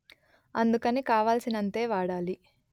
అందుకని కావాల్సినంతే వాడాలి